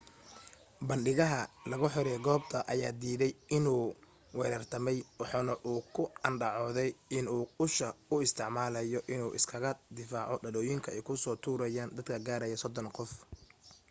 bandhigaha lagu xiray goobta ayaa diiday inuu weerartamay waxa uuna ku andacoode in uu usha u isticmaalaye in uu iskaga difaaco dhalooyinka ay kusoo tuurayen dad gaaraya sodon qof